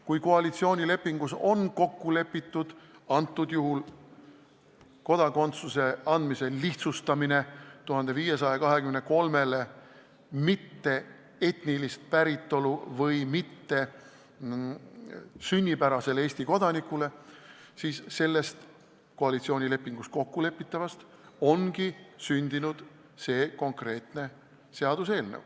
Kui koalitsioonilepingus on antud juhul kokku lepitud kodakondsuse andmise lihtsustamises 1523 isiku puhul, kes pole etniliselt päritolult eestlased ja kes ei ole sünnipärased Eesti kodanikud, siis sellest koalitsioonilepingus kokkulepitust ongi sündinud see konkreetne seaduseelnõu.